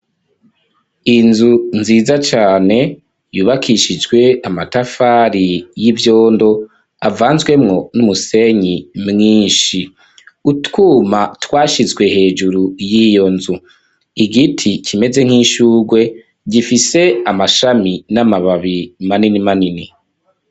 Inzu nziza cane, yubakishijwe amatafari y'ivyondo, avanzwemwo, n'umusenyi mwinshi; utwuma, twashizwe hejuru, y'iyo nzu; igiti kimeze nk'ishurwe gifise amashami, n'amababi, manini manini.